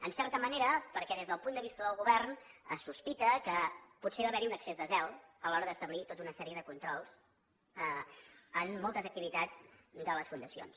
en certa manera perquè des del punt de vista del govern es sospita que potser va haver hi un excés de zel a l’hora d’establir tota una sèrie de controls en moltes activitats de les fundacions